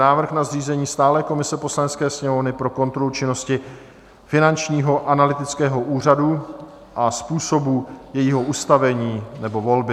Návrh na zřízení stálé komise Poslanecké sněmovny pro kontrolu činnosti Finančního analytického úřadu a způsobu jejího ustavení nebo volby